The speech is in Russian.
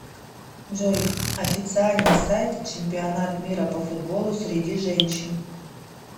джой официальный сайт чемпионат мира по футболу среди женщин